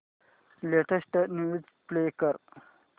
latest news play कर